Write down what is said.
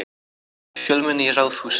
Fjölmenni í Ráðhúsinu